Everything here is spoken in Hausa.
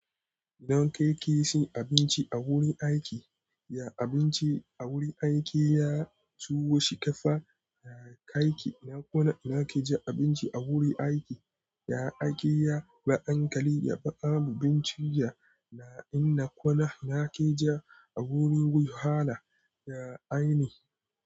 Don kai kisihin abinci a wurin aiki, ya abinci a wurin aiki ya tuwo shikafa. Ya kai ki na kuna nake ja abinci a wurin aiki. Ya aiki ya na ankali ya fa'a mu bincija na in na kuna nake ja a wurin wuyala. Ya aini.